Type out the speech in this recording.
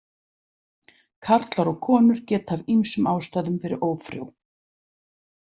Karlar og konur geta af ýmsum ástæðum verið ófrjó.